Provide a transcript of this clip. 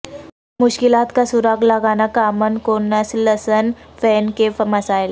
مشکلات کا سراغ لگانا کامن کونسلسن فین کے مسائل